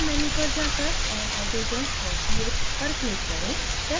build menu पर जाकर add hydrogens for ph पर click करें